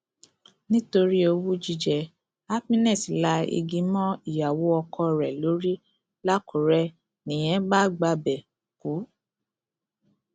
nítorí owú jíjẹ happiness la igi mọ ìyàwó ọkọ rẹ lórí làkùrẹ nìyẹn bá gbabẹ kú